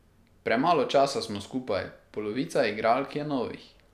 Premalo časa smo skupaj, polovica igralk je novih.